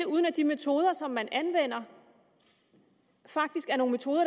uden at de metoder som man anvender faktisk er nogle metoder